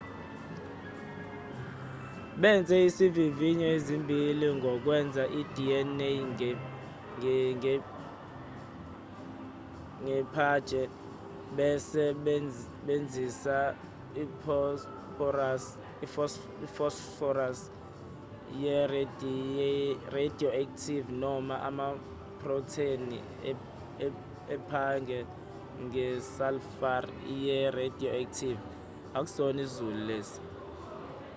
benze izivivinyo ezimbili ngokwenza i-dna nge-phage besebenzisa iphosphorus ye-radioactive noma amaprotheni e-phage nge-sulfur ye-radioactive